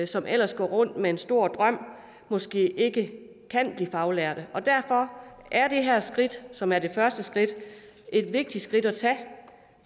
som ellers går rundt med en stor drøm måske ikke kan blive faglært derfor er det her skridt som er det første skridt et vigtigt skridt at tage